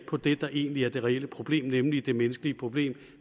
på det der egentlig er det reelle problem nemlig det menneskelige problem